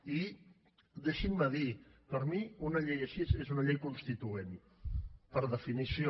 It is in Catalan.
i deixin m’ho dir per mi una llei així és una llei constituent per definició